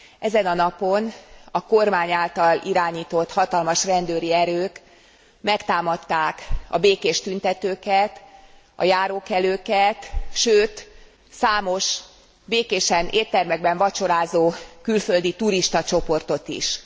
Ezen a napon a kormány által irányított hatalmas rendőri erők megtámadták a békés tüntetőket, a járókelőket, sőt, számos békésen éttermekben vacsorázó külföldi turistacsoportot is.